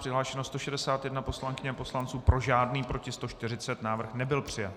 Přihlášeno 161 poslankyň a poslanců, pro žádný, proti 140, návrh nebyl přijat.